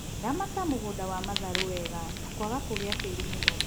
Ramata mũgũnda wa matharu wega ta kwaga kũgia tiri mũno